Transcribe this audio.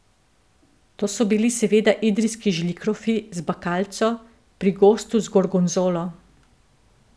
To so bili seveda idrijski žlikrofi z bakalco, pri gostu z gorgonzolo.